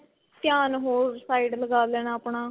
ਧਿਆਨ ਹੋਰ side ਲਗਾ ਲੈਣਾ ਆਪਣਾ